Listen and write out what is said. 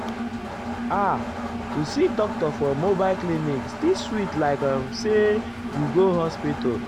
ah to see doctor for mobile clinic still sweet likeum say you go hospital.